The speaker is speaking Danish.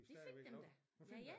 De fik dem da ja ja